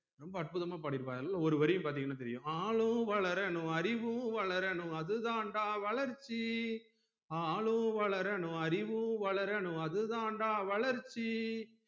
ரொம்ப அற்புதமா பாடிருப்பாரு அதுல ஒரு வரி பாத்தீங்கனா தெரியும் ஆளும் வளரனும் அறிவும் வளரனும் அது தாண்டா வளர்ச்சி ஆளும் வளரனும் அறிவும் வளரனும் அது தாண்டா வளர்ச்சி